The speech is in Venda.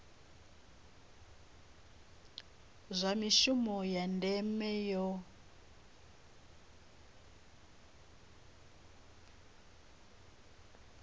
zwa mishumo ya ndeme yo